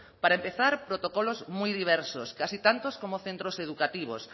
para empezar protocolos muy diversos casi tantos como centros educativos